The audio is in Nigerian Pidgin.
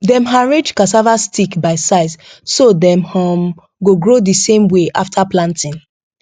dem arrange cassava stick by size so dem um go grow the same way after planting